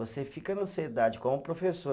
Você fica na ansiedade como professor.